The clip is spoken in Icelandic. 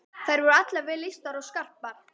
Þær voru allar vel lýstar og skarpar.